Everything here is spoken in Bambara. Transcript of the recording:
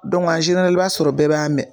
i b'a sɔrɔ bɛɛ b'a mɛ